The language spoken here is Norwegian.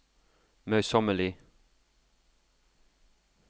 møysommelig